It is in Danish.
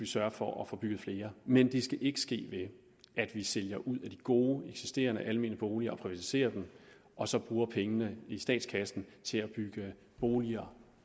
sørge for at få bygget flere men det skal ikke ske ved at vi sælger ud af de gode eksisterende almene boliger og altså privatiserer dem og så bruger pengene i statskassen til at bygge boliger